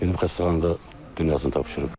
Gedib xəstəxanada dünyasını tapşırıb.